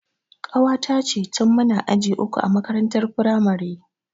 Ƙawata ce tin muna aji uku a makarantar firamare